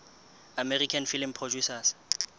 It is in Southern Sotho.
american film producers